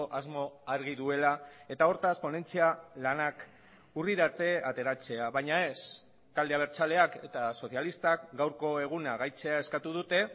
asmo argi duela eta hortaz ponentzia lanak urrira arte ateratzea baina ez talde abertzaleak eta sozialistak gaurko eguna gaitzea eskatu dute